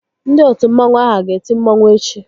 Ndị otu mmanwu ahụ a ga-eti mmanwu echi?